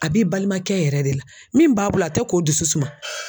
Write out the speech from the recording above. A b'i balimakɛ yɛrɛ de la min b'a bolo a tɛ k'o dusu suma.